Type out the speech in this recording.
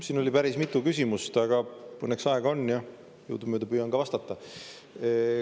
Siin oli päris mitu küsimust, aga õnneks aega on ja jõudumööda püüan ka vastata.